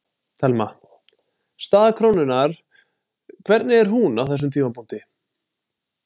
Telma: Staða krónunnar, hvernig er hún á þessum tímapunkti?